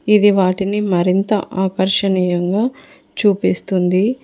ఇది వాటిని మరింత ఆకర్షణీయంగా చూపిస్తుంది.